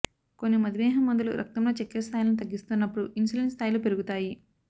కొన్ని మధుమేహం మందులు రక్తంలో చక్కెర స్థాయిలను తగ్గిస్తున్నప్పుడు ఇన్సులిన్ స్థాయిలు పెరుగుతాయి